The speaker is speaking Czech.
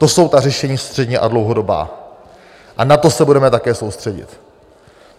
To jsou ta řešení střední a dlouhodobá a na to se budeme také soustředit.